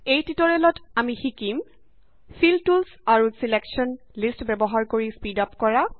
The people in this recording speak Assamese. এই টিউটৰিয়েলত আমি শিকিম ফিল টুলচ আৰু ছিলেকশ্যন লিষ্ট ব্যৱহাৰ কৰি স্পীড আপ কৰা